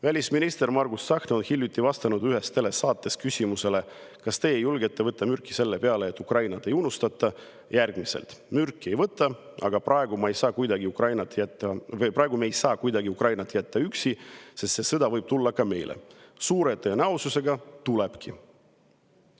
Välisminister Margus Tsahkna vastas hiljuti ühes telesaates küsimusele, kas ta julgeks võtta mürki selle peale, et Ukrainat ei unustata, järgmiselt: "Mürki ei võta, aga praegu me ei saa kuidagi Ukrainat üksi jätta, sest see sõda võib tulla ka meile, suure tõenäosusega tulebki.